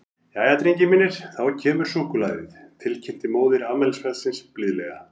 Jæja, drengir mínir, þá kemur súkkulaðið, til kynnti móðir afmælisbarnsins blíðlega.